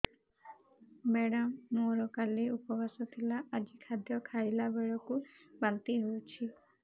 madam ମୋର କାଲି ଉପବାସ ଥିଲା ଆଜି ଖାଦ୍ୟ ଖାଇଲା ବେଳକୁ ବାନ୍ତି ହେଊଛି